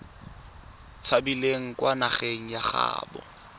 tshabileng kwa nageng ya gaabo